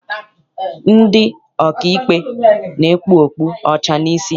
Ndị ọkaikpe na-ekpu okpu ọcha n'isi.